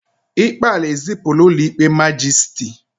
ikpe ala ezipụla ụlọ ikpe majisiti